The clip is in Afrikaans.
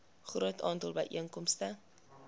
groot aantal byeenkomste